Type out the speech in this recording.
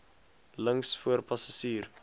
links voor passasier